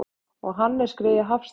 Og Hannes greyið Hafstein!